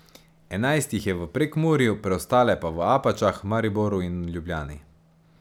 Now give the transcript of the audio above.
Enajst jih je v Prekmurju, preostale pa v Apačah, Mariboru in Ljubljani.